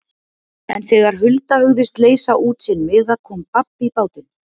En þegar Hulda hugðist leysa út sinn miða kom babb í bátinn.